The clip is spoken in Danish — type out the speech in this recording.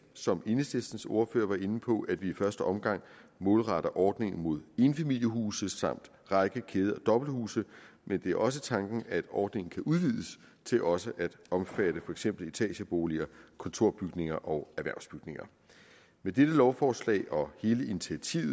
som enhedslistens ordfører var inde på at vi i første omgang målretter ordningen mod enfamilieshuse samt række kæde og dobbelthuse men det er også tanken at ordningen kan udvides til også at omfatte for eksempel etageboliger kontorbygninger og erhvervsbygninger med dette lovforslag og hele initiativet